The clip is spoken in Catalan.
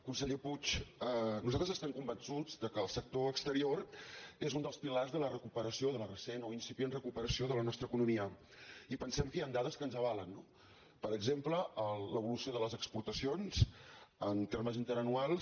conseller puig nosaltres estem convençuts que el sector exterior és un dels pilars de la recuperació de la recent o incipient recuperació de la nostra economia i pensem que hi han dades que ens avalen no per exemple l’evolució de les exportacions en termes interanuals